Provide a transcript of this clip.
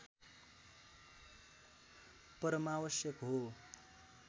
परमावश्यक हो